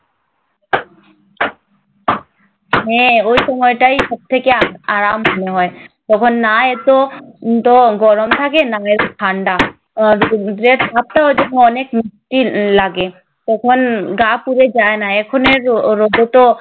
হ্যাঁ ওই সময়টাই সব থেকে আরাম মনে হয়। তখন না এত~ এত গরম থাকে না এত ঠাণ্ডা। আর অনেক তৃপ্তির লাগে। তখন গা পুড়ে যায় না, এখনের রৌ রৌদ্রতো